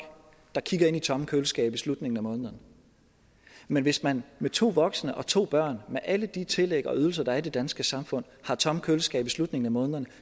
der kigger ind i tomme køleskabe i slutningen af måneden men hvis man med to voksne og to børn med alle de tillæg og ydelser der er i det danske samfund har tomme køleskabe i slutningen af måneden